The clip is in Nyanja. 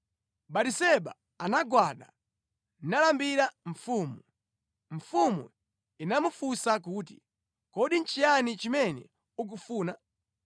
Batiseba anagwada nalambira mfumu. Mfumu inamufunsa kuti, “Kodi nʼchiyani chimene ukufuna?”